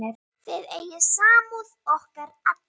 Þið eigið samúð okkar alla.